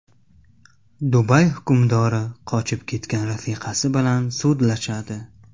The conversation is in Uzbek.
Dubay hukmdori qochib ketgan rafiqasi bilan sudlashadi.